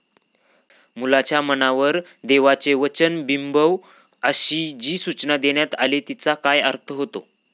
मुलांच्या मनावर देवाचे वचन बिंबव अशी जी सूचना देण्यात आली तिचा काय अर्थ होतो?